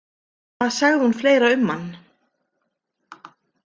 Hvað sagði hún fleira um hann?